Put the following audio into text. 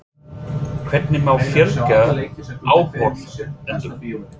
Hvernig má fjölga áhorfendum?